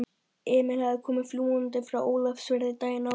Emil hafði komið fljúgandi frá Ólafsfirði daginn áður.